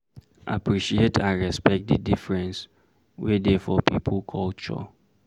Appreciate and respect di difference wey dey for pipo culture